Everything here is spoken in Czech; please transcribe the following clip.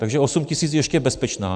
Takže 8 tisíc je ještě bezpečná?